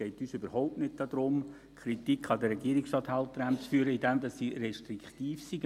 Es geht uns überhaupt nicht darum, Kritik an den Regierungsstatthalterämtern zu üben in dem Sinne, dass diese restriktiv seien.